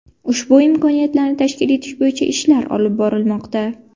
Ushbu imkoniyatlarni tashkil etish bo‘yicha ishlar olib borilmoqda.